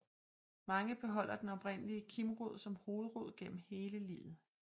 Mange beholder den oprindelige kimrod som hovedrod gennem hele livet